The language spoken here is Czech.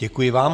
Děkuji vám.